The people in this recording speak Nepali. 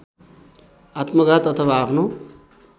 आत्मघात अथवा आफ्नो